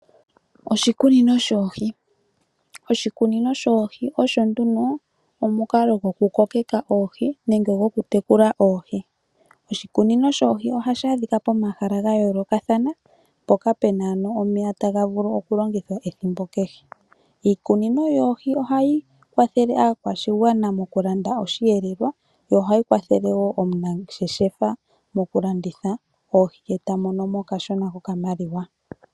Oshikunino shoohi. Oshikunino shoohi osho nduno omukalo gwokutekula oohi nenge gokukokeka oohi. Oshikunino shoohi ohashi adhika pomahala ga yoolokathana mpoka pu na omeya taga vulu okulongithwa ethimbo kehe. Iikunino yoohi ohai kwathele aakwashigwana mokulanda osheelelwa, yo ohayi kwathele wo omunangeshefa mokulanditha oohi e ta mono mo okashona kokamaliwa.